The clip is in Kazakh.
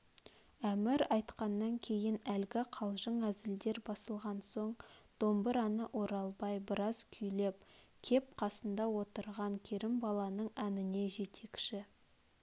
әмір айтқаннан кейін әлгі қалжың әзілдер басылған соң домбыраны оралбай біраз күйлеп кеп қасында отырған керімбаланың әніне жетекші